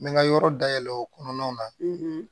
N bɛ n ka yɔrɔ dayɛlɛ o kɔnɔna na